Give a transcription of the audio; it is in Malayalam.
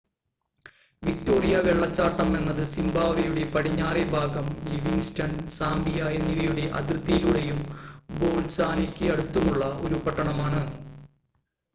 വിക്റ്റോറിയ വെള്ളച്ചാട്ടം എന്നത് സിംബാബ്വേയുടെ പടിഞ്ഞറേ ഭാഗം ലിവിംഗ്സ്റ്റൺ സാംബിയ എന്നിവയുടെ അതിർത്തിയിലൂടെയും ബോത്സ്വാനയ്ക്ക് അടുത്തുള്ളതുമായ ഒരു പട്ടണമാണ്